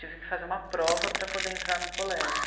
Tive que fazer uma prova para poder entrar num colégio.